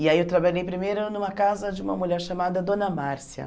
E aí eu trabalhei primeiro numa casa de uma mulher chamada Dona Márcia.